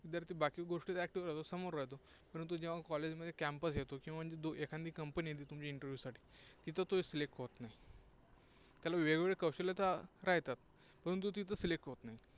विद्यार्थी बाकी गोष्टींत active राहातो, समोर राहतो. परंतु जेव्हा college मध्ये campus येतो, एखांदी company येते तुमच्या interview साठी तिथे तो select होत नाही. त्याला वेगवेगळे कौशल्य तर येतात, परंतु ती Select होत नाही.